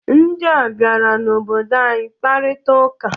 Ndịa bịara n'obodo anyị kparita ụka.